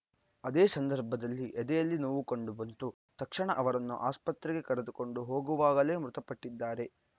ಅದೇ ಸಂದರ್ಭದಲ್ಲಿ ಎದೆಯಲ್ಲಿ ನೋವು ಕಂಡು ಬಂತು ತಕ್ಷಣ ಅವರನ್ನು ಆಸ್ಪತ್ರೆಗೆ ಕರೆದುಕೊಂಡು ಹೋಗುವಾಗಲೇ ಮೃತಪಟ್ಟಿದ್ದಾರೆ